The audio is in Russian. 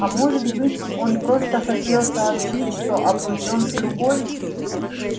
а может быть он просто хотел сообщить что обручён с другой